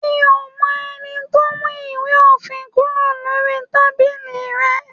Mí o mọ ẹni tó mú ìwé òfin kúrò lórí tábìlì rẹ.